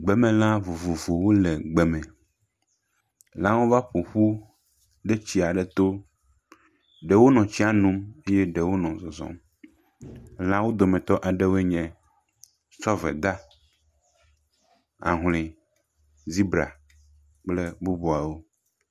Gbemelãwo vovovowo le gbe me. Lãwo va ƒoƒu ɖe tsi aɖe to. Ɖewo nɔ tsia nom eye ɖewo nɔ zɔzɔ. Lã dometɔ aɖewoe nye zɔveda, ahle, zebra kple bubuawo.